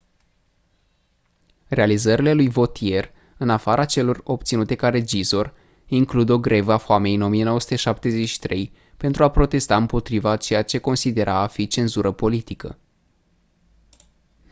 realizările lui vautier în afara celor obținute ca regizor includ o grevă a foamei în 1973 pentru a protesta împotriva a ceea ce considera a fi cenzură politică